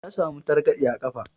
Ya samu targaɗe a ƙafa.